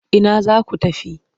Ina za ku tafi?